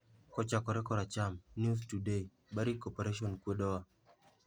Kochakore koracham: News Today, "Barrick Corporation kwedowa".